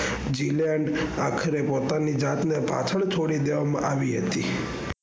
જીલે અને આખરે પોતાની જાત ને પાછળ છોડી દેવામાં આવી હતી.